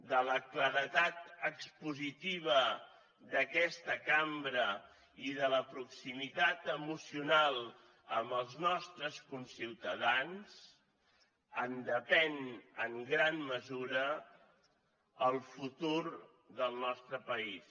de la claredat expositiva d’aquesta cambra i de la proximitat emocional amb els nostres conciutadans depèn en gran mesura el futur del nostre país